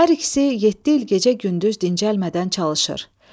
Hər ikisi yeddi il gecə-gündüz dincəlmədən çalışır.